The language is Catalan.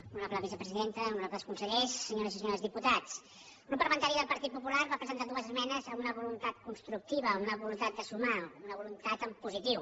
honorable vice·presidenta honorables consellers senyors i senyores diputats el grup parlamentari del partit popular va presentar dues esmenes amb una voluntat construc·tiva una voluntat de sumar una voluntat en positiu